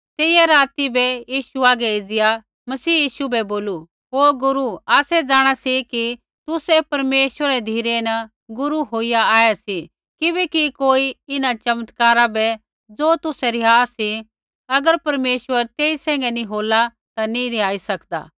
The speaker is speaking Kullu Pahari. तेइयै राती बै यीशु हागै एज़िया मसीह यीशु बै बोलू ओ गुरू आसै जाँणा सी कि तुसै परमेश्वरै री धिरै न गुरू होईया आऐ सी किबैकि कोई इन्हां चमत्कारा बै ज़ो तुसै रिहा सी अगर परमेश्वर तेई सैंघै नी होला ता नी रिहाई सकदा